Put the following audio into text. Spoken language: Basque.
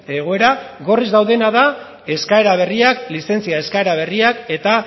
egoera eskaera berriak lizentzia eskaera berriak eta